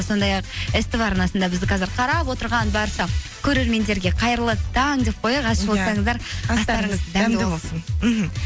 сондай ақ ств арнасында бізді қазір қарап отырған барша көрермендерге қайырлы таң деп қояйық ас ішіп отырсаңыздар астарыңыз дәмді болсын мхм